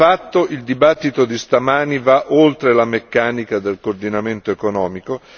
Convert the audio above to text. Di fatto, il dibattito di stamani va oltre la meccanica del coordinamento economico.